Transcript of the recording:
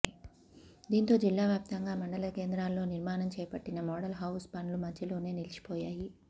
దీంతో జిల్లావ్యాప్తంగా మండల కేంద్రాల్లో నిర్మాణం చేపట్టిన మోడల్ హౌస్ పనులు మధ్యలోనే నిలిచిపోయాయి